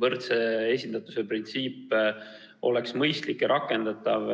võrdse esindatuse printsiip on mõistlik ja rakendatav.